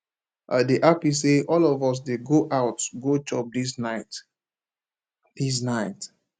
i dey happy say all of us dey go out go chop dis night dis night